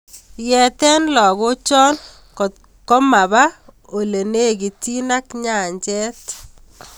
Eete lakocho kotkomaba olelekitiin ak nyanjet